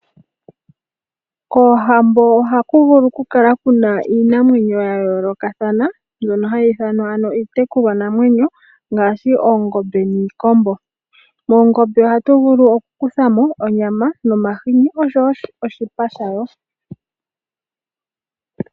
Koohambo ohaku vulu okukala kuna iinamwenyo yayoolokathana, mbyono hayi ithanwa ano iitekulwanamwenyo ngaashi, oongombe, niikombo. Moongombe ohatu vulu okukuthamo onyama nomahini, oshowo oshipa shayo.